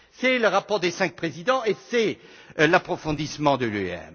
C'est le rapport des cinq présidents et l'approfondissement